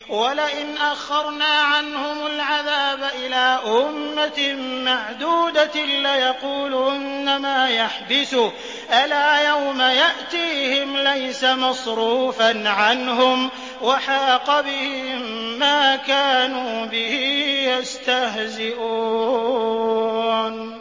وَلَئِنْ أَخَّرْنَا عَنْهُمُ الْعَذَابَ إِلَىٰ أُمَّةٍ مَّعْدُودَةٍ لَّيَقُولُنَّ مَا يَحْبِسُهُ ۗ أَلَا يَوْمَ يَأْتِيهِمْ لَيْسَ مَصْرُوفًا عَنْهُمْ وَحَاقَ بِهِم مَّا كَانُوا بِهِ يَسْتَهْزِئُونَ